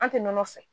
An tɛ nɔnɔ fɛ